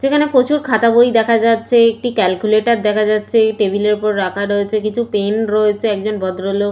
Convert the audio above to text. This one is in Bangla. যেখানে প্রচুর খাতা বই দেখা যাচ্ছে একটি ক্যালকুলেটর দেখা যাচ্ছে টেবিল এর ওপর রাখা রয়েছে কিছু পেন রয়েছে একজন ভদ্রলোক।